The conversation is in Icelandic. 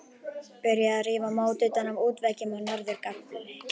Byrjað að rífa mót utan af útveggjum á norður gafli.